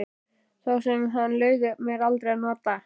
Þá sem hann leyfði mér aldrei að nota.